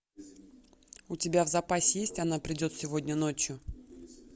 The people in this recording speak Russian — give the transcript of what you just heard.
у тебя в запасе есть она придет сегодня ночью